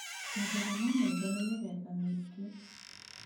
Mathĩna ma maitho nĩ mĩthemba mĩingĩ